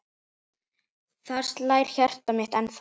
Þar slær hjartað mitt ennþá.